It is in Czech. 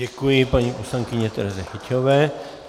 Děkuji paní poslankyni Tereze Hyťhové.